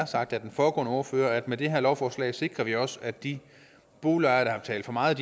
sagt af den foregående ordfører at med det her lovforslag sikrer vi også at de boligejere der har betalt for meget